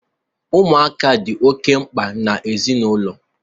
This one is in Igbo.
Ụmụaka dị oke mkpa na ezinaụlọ.